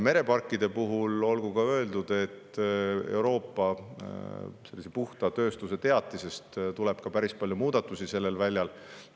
Mereparkide puhul olgu ka öeldud, et Euroopa puhta tööstuse teatise tõttu tuleb päris palju muudatusi sellel väljal.